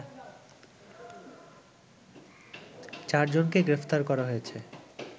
চার জনকে গ্রেপ্তার করা হয়েছে